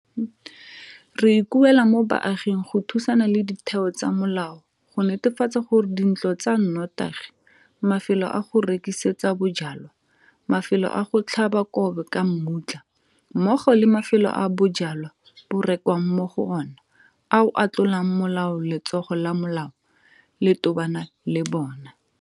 Re ikuela mo baaging go thusana le ditheo tsa molao go netefatsa gore dintlo tsa notagi, mafelo a go rekisetsa bojalwa, mafelo a go tlhaba kgobe ka mmutla mmogo le mafelo a bojalwa bo rekwang mo go ona ao a tlolang molao letsogo la molao le tobana le bona.